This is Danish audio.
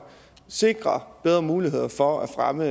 sikrer bedre muligheder for at fremme